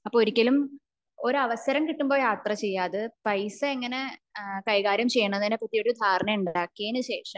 അപ്പോ ഒരിക്കലും ഒരു അവസരം കിട്ടുമ്പോ യാത്ര ചെയ്യാ അപ്പോ അത് പൈസ എങ്ങനെ കൈകാര്യം ചെയ്യും എന്നതിനെ പറ്റി ഒരു ധാരണ ഉണ്ടാക്കിയതിന് ശേഷം